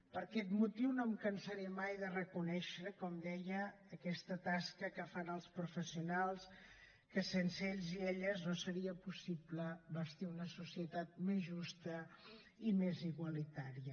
per aquest motiu no em cansaré mai de reconèixer com deia aquesta tasca que fan els professionals que sense ells i elles no seria possible bastir una societat més justa i més igualitària